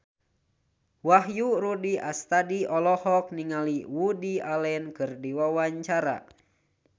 Wahyu Rudi Astadi olohok ningali Woody Allen keur diwawancara